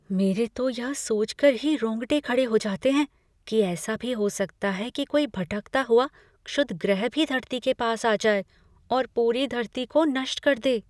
मेरे तो यह सोचकर ही रोंगटे खड़े हो जाते हैं कि ऐसा भी हो सकता है कि कोई भटकता हुआ क्षुद्रग्रह कभी धरती के पास आ जाए और पूरी धरती को नष्ट कर दे।